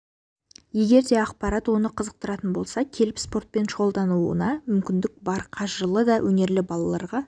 егер де ақпарат оны қызықтыратын болса келіп спортпен шұғылдануына мүмкіндігі бар қажырлы да өнерлі балаларға